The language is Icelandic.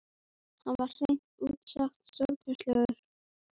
Hann var hreint út sagt stórglæsilegur.